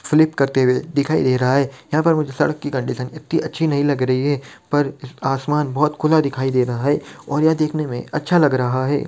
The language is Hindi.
फ्लिप करते हुए दिखाई दे रहा है | यहाँ पर मुझे सड़क की कंडीशन इतनी अच्छी नहीं लग रही है पर आसमान बहुत खुला दिखाई दे रहा है और यह देखने में अच्छा लग रहा है।